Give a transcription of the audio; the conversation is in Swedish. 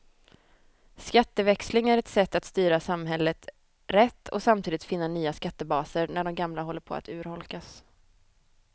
Skatteväxling är ett sätt att styra samhället rätt och samtidigt finna nya skattebaser när de gamla håller på att urholkas.